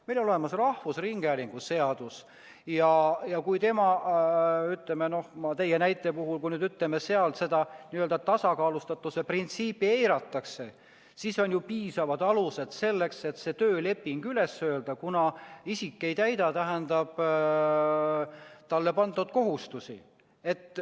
Meil on olemas rahvusringhäälingu seadus ja kui, ütleme, teie näite puhul seda tasakaalustatuse printsiipi eiratakse, siis on ju piisavad alused selleks, et tööleping üles öelda, kuna isik ei täida talle pandud kohustusi.